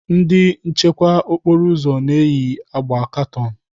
Ndị nchekwa okporo ụzọ na-eyi agba katọn.